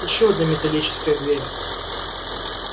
ещё одна металлическая дверь